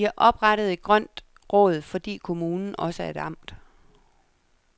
De har oprettet et grønt råd, fordi kommunen også er et amt.